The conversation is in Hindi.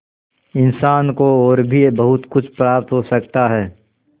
इंसान को और भी बहुत कुछ प्राप्त हो सकता है